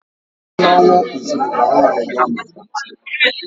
Ugboro ole n'ọnwa kwesịrị ka nwanyị gaa maka atinatalu?